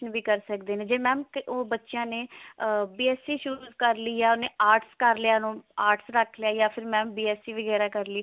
ਵੀ ਕਰ ਸਕਦੇ ਨੇ ਤੇ mam ਉਹ ਬੱਚਿਆਂ ਨੇ ah BSC ਸ਼ੁਰੂ ਕਰ ਲਈ ਹੈ ਉਹਨੇ arts ਕਰ ਲਿਆ arts ਰੱਖ ਲਿਆ mam ਯਾ ਫਿਰ mam BSC ਵਗੇਰਾ ਕਰ ਲਈ